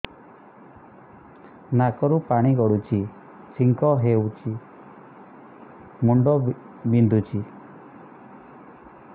ନାକରୁ ପାଣି ଗଡୁଛି ଛିଙ୍କ ହଉଚି ମୁଣ୍ଡ ବିନ୍ଧୁଛି